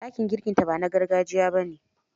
Dakin girkinta ba na gargajiya ba ne.